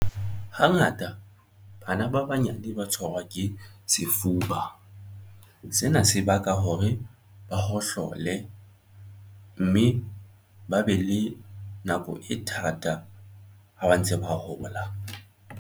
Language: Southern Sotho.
Hangata bana ba banyane ba tshwarwa ke sefuba. Sena se baka hore ba hohlole mme ba be le nako e thata ha ba ntse ba hola.